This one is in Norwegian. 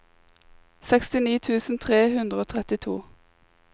sekstini tusen tre hundre og trettito